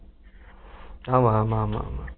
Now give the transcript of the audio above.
உம் ஆமா ஆமா ஆமா ஆமா